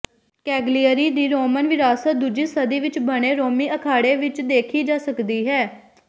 Cagliari ਦੀ Roman ਵਿਰਾਸਤ ਦੂਜੀ ਸਦੀ ਵਿਚ ਬਣੇ ਰੋਮੀ ਅਖਾੜੇ ਵਿਚ ਦੇਖੀ ਜਾ ਸਕਦੀ ਹੈ